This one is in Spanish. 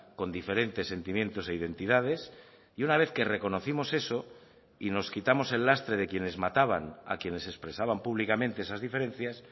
con diferentes sentimientos e identidades y una vez que reconocimos eso y nos quitamos el lastre de quienes mataban a quienes expresaban públicamente esas diferencias